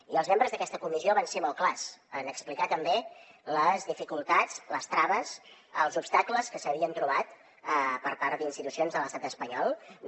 i els membres d’aquesta comissió van ser molt clars en explicar també les dificultats les traves els obstacles que s’havien trobat per part d’institucions de l’estat espanyol no